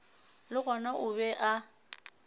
le gona o be a